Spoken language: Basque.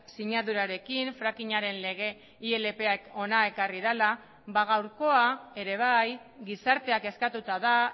sinadurarekin frackinaren lege ilp ak ona ekarri dela ba gaurkoa ere bai gizarteak eskatuta da